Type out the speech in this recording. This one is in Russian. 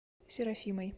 серафимой